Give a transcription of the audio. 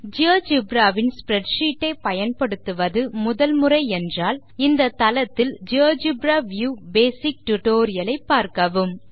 GeoGebra வின் spreadsheets ஐ பயன்படுத்துவது முதல் முறை என்றால் இந்த தளத்தில் ஸ்ப்ரெட்ஷீட் வியூ பேசிக் டியூட்டோரியல் ஐ பார்க்கவும்